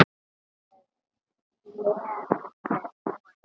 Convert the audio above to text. Þetta er glaðleg kona.